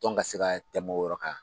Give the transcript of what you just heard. Tɔn ka se ka tɛmɛn o yɔrɔ kan.